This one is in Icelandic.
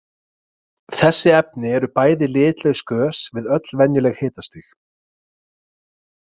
Þessi efni eru bæði litlaus gös við öll venjuleg hitastig.